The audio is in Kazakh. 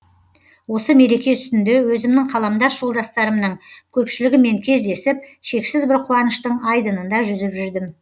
осы мереке үстінде өзімнің қаламдас жолдастарымның көпшілігімен кездесіп шексіз бір қуаныштың айдынында жүзіп жүрдім